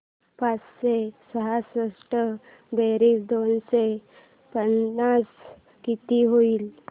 पाचशे सहासष्ट बेरीज दोनशे पन्नास किती होईल